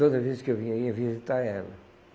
Toda vez que eu vinha, eu ia visitar ela.